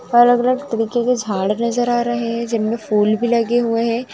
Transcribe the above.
और अलग अलग तरीके के झाड़ नज़र आ रहे हैं जिनमें फूल भी लगे हुए हैं।